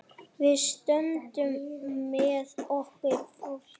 Við stöndum með okkar fólki.